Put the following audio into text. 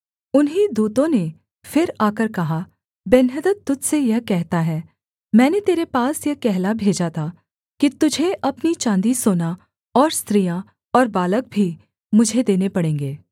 उन्हीं दूतों ने फिर आकर कहा बेन्हदद तुझ से यह कहता है मैंने तेरे पास यह कहला भेजा था कि तुझे अपनी चाँदी सोना और स्त्रियाँ और बालक भी मुझे देने पड़ेंगे